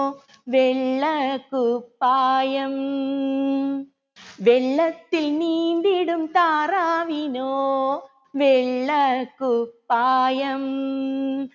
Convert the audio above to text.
വെള്ളക്കുപ്പായം വെള്ളത്തിൽ നീന്തിടും താറാവിനോ വെള്ളക്കുപ്പായം